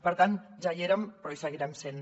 per tant ja hi érem però hi seguirem sent